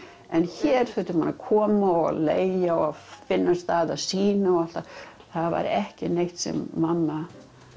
en hér þurfti maður að koma og leigja og finna stað að sýna það væri ekki neitt sem mamma